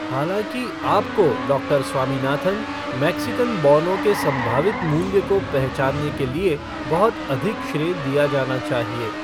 हालाँकि, आपको, doctor Swaminathan, Mexican बौनों के संभावित मूल्य को पहचानने के लिए बहुत अधिक श्रेय दिया जाना चाहिए।